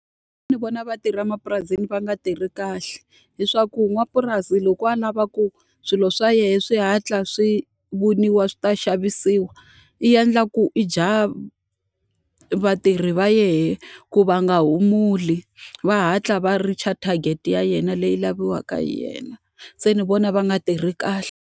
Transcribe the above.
Ndzi vona va tirha emapurasini va nga tirhi kahle. Hileswaku n'wapurasi loko a lava ku swilo swa yena swi hatla swi voniwa swi ta xavisiwa, i endla ku i dya vatirhi va yena ku va nga humuli, va hatla va reach-a target ya yena leyi laviwaka hi yena. Se ni vona va nga tirhi kahle.